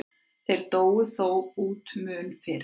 Þeir dóu þó út mun fyrr.